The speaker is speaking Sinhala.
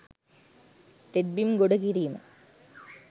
තෙත්බිම් ගොඩකිරීම